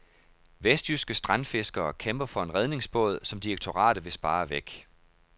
Vestjyske strandfiskere, kæmper for en redningsbåd, som direktoratet vil spare væk.